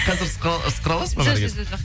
қазір сықыра аласыз ба жо жо жоқ